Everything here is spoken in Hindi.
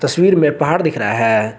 तस्वीर में पहाड़ दिख रहा है।